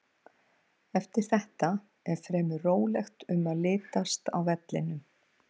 Eftir þetta er fremur rólegt um að litast á vellinum.